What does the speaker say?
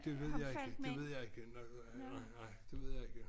Det ved jeg ikke det ved jeg ikke nej nej det ved jeg ikke